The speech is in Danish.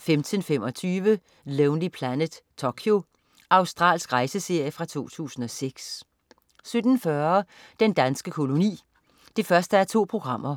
15.25 Lonely Planet: Tokyo. Australsk rejseserie fra 2006 17.40 Den danske koloni 1:2.